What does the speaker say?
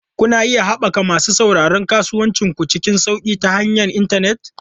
Kuna iya haɓaka masu sauraron kasuwancin ku cikin sauƙi ta hanyar intanet.